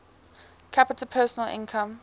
capita personal income